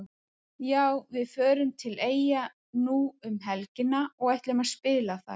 Já við förum til Eyja nú um helgina og ætlum að spila þar.